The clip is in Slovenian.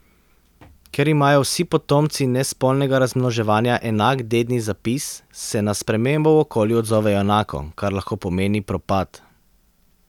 Ker imajo vsi potomci nespolnega razmnoževanja enak dedni zapis, se na spremembo v okolju odzovejo enako, kar lahko pomeni propad.